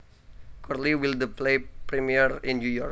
Curly Will the play premiere in New York